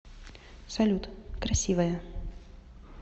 салют красивая